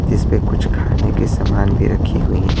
जिस पर कुछ खाने के सामान भी रखी हुई हैं।